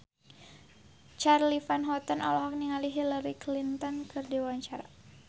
Charly Van Houten olohok ningali Hillary Clinton keur diwawancara